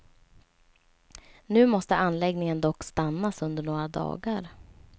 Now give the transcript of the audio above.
Nu måste anläggningen dock stannas under några dagar.